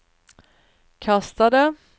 kastade